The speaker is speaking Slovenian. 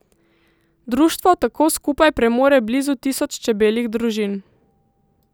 Društvo tako skupaj premore blizu tisoč čebeljih družin.